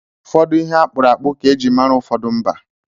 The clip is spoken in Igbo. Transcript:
Ụfọdụ ihe akpụrụ akpụ ka eji mara ụfọdụ mba.